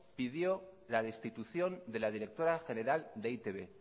pidió la destitución de la directora general de e i te be